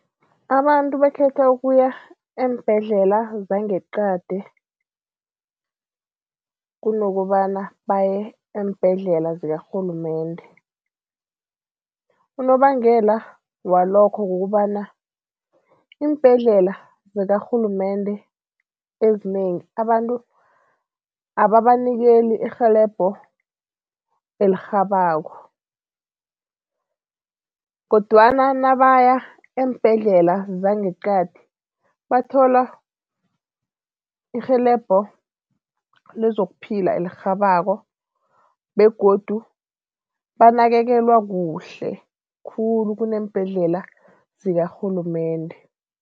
Abantu bakhetha ukuya eembhedlela zangeqadi kunokobana baye eembhedlela zikarhulumende. Unobangela walokho kukobana iimbhedlela zakarhulumende ezinengi, abantu ababanikeli irhelebho elirhabako kodwana nabaya eembhedlela zangeqadi, bathola irhelebho lezokuphila elirhabako begodu banakekelwa kuhle khulu kuneembhedlela zikarhulumende.